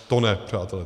To ne, přátelé.